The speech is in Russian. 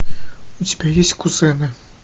у тебя есть кузены